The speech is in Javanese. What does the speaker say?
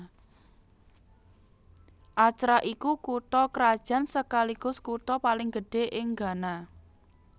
Accra iku kutha krajan sekaligus kutha paling gedhé ing Ghana